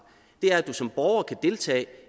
at du som borger kan deltage